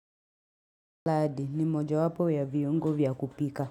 Laadi ni mojawapo ya viungo vya kupika.